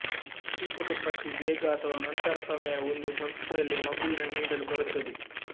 ಪ್ರತಿ ಕುಟುಂಬಕ್ಕೆ ಬೇಗ ಅಥವಾ ನಂತರ ಸಮಯ ಒಂದು ಸಂಸ್ಥೆಯಲ್ಲಿ ಮಗುವಿನ ನೀಡಲು ಬರುತ್ತದೆ